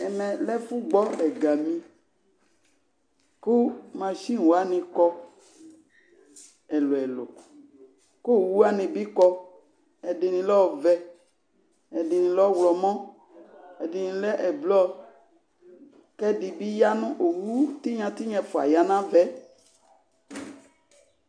Ɛmɛ lɛ ɛfʋgbɔ ɛgami kʋ masin wanɩ kɔ ɛlʋ-ɛlʋ kʋ owu wanɩ bɩ kɔ, ɛdɩnɩ lɛ ɔvɛ, ɛdɩnɩ lɛ ɔɣlɔmɔ, ɛdɩnɩ lɛ ɛblɔ kʋ ɛdɩ bɩ ya nʋ owu tɩnya tɩnya ɛfʋa ya nʋ ava yɛ